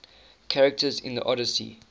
characters in the odyssey